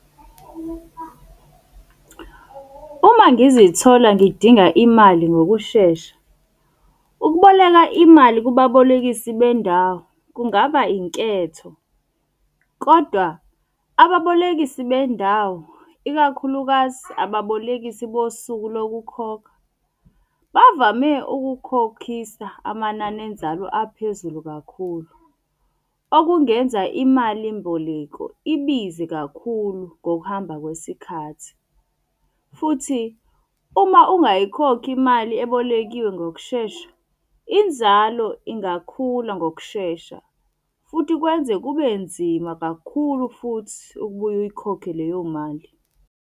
Uma ngizithola ngidinga imali ngokushesha, ukuboleka imali kubabolekisi bendawo kungaba inketho. Kodwa ababolekisi bendawo, ikakhulukazi ababolekisi bosuku lokukhokha bavame ukukhokhisa amanani enzalo aphezulu kakhulu. Okungenza imali mboleko ibize kakhulu ngokuhamba kwesikhathi. Futhi, uma ungayikhokhi imali ebolekiwe ngokushesha, inzalo ingakhula ngokushesha. Futhi kwenze kube nzima kakhulu futhi ukubuye uyikhokhe leyo mali.